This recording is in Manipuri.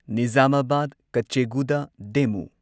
ꯅꯤꯓꯥꯃꯥꯕꯥꯗ ꯀꯆꯦꯒꯨꯗꯥ ꯗꯦꯃꯨ